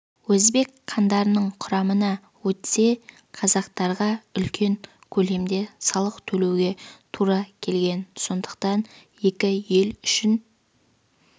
өзбек хандарының қарамағына өтсе қазақтарға үлкен көлемде салық төлеуге тұра келген сондықтан екі ел үшін